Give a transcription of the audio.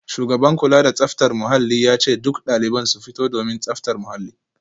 Shugaban kula da tsaftar muhalli ya ce dukkan daliban su fito domin tsaftar muhalli